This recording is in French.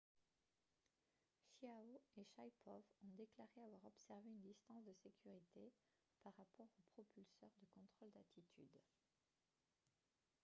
chiao et shaipov ont déclaré avoir observé une distance de sécurité par rapport aux propulseurs de contrôle d'attitude